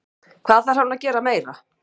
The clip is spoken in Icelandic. Hvað þarf hann að gera meira?